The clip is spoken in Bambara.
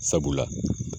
Sabula